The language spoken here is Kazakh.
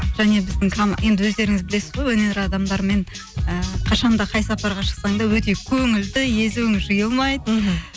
және біздің енді өздеріңіз білесіз ғой өнер адамдарымен і қашан да қай сапарға шықсаң да өтек көңілді езуің жиылмайды мхм